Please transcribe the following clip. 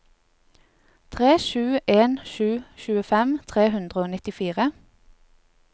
tre sju en sju tjuefem tre hundre og nittifire